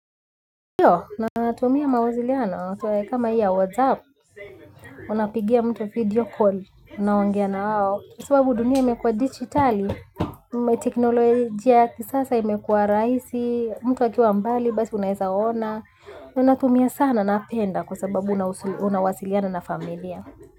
Iyo, natumia mawaziliano, kama hii ya WhatsApp, unapigia mtu video call, unaongea na wao. Kwa sababu dunia imekuwa digitali, umeteknolojia ya kisasa imekuwa raisi, mtu akiwa mbali, basi unahesa waona. Unatumia sana napenda kwa sababu unawasiliana na familia.